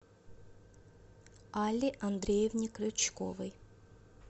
алле андреевне крючковой